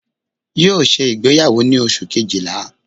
Yóò ṣe ìgbéyàwó ni Oṣù kejìlá